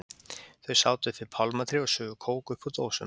Þau sátu upp við pálmatré og sugu kók upp úr dósum.